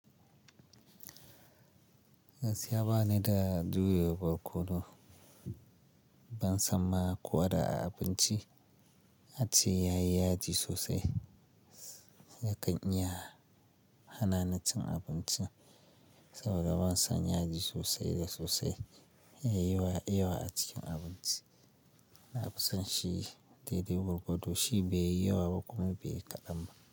Gaskiya ba ni da jure barkono, ban san ma ko da a abinci ace yayi yaji sosai. Yakan iya hanani cin abincin saboda ban san yaji sosai da sosai yayi yawa a cikin abinci. Na fi son shi daidai gwargwado shi bai yi yawa ba kuma bai yi kaɗan ba.